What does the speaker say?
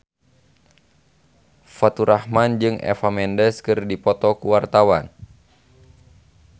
Faturrahman jeung Eva Mendes keur dipoto ku wartawan